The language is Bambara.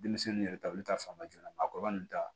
Denmisɛnninw yɛrɛ ta olu ta fan joona maakɔrɔba nun ta